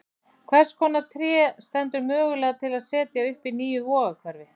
Hvers konar tré stendur mögulega til að setja upp í nýju Vogahverfi?